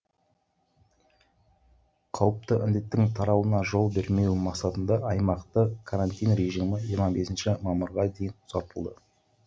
қауіпті індеттің таралуына жол бермеу мақсатында аймақта карантин режимі жиырма бесінші мамырға дейін ұзартылды